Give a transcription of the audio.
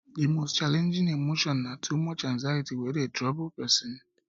di most challenging emotion na too much anxiety wey dey trouble pesin